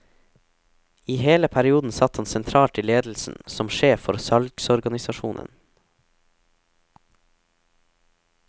I hele perioden satt han sentralt i ledelsen som sjef for salgsorganisasjonen.